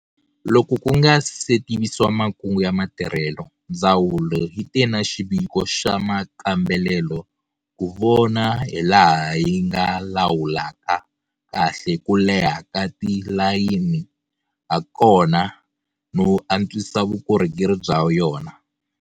Loko ku nga se tivisiwa makungu ya matirhelo, ndzawulo yi te na xiviko xa makambelelo ku vona hilaha yi nga lawulaka kahle ku leha ka tilayini hakona no antswisa vukorhokeri bya yona.